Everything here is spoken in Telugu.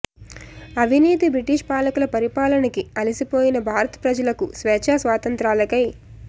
అవినీతి బ్రిటీష్ పాలకుల పరిపాలనకి అలసిపోయిన భారత ప్రజలకు స్వేచ్ఛా స్వాతంత్ర్యాలకై